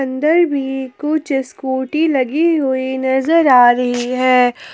अंदर भी कुछ स्कूटी लगी हुई नजर आ रही हैं।